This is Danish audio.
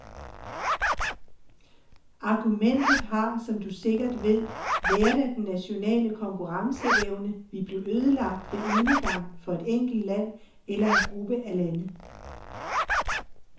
Argumentet har, som du sikkert ved, været at den nationale konkurrenceevne ville blive ødelagt ved enegang for et enkelt land eller en gruppe af lande.